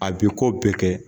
A bi ko bɛɛ kɛ